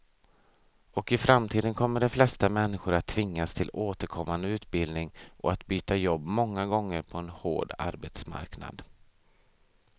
Och i framtiden kommer de flesta människor att tvingas till återkommande utbildning och att byta jobb många gånger på en hård arbetsmarknad.